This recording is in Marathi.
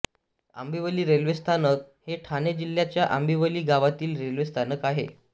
आंबिवली रेल्वे स्थानक हे ठाणे जिल्ह्याच्या आंबिवली गावातील रेल्वे स्थानक आहे